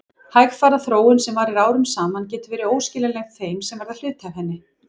Hægfara þróun sem varir árum saman getur verið óskiljanleg þeim sem verða hluti af henni.